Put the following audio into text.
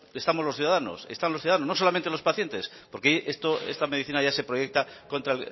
estamos los ciudadanos están los ciudadanos no solamente los pacientes porque esta medicina ya se proyecta contra